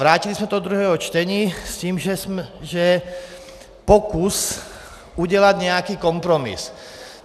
Vrátili jsme to do druhého čtení s tím, že pokus udělat nějaký kompromis.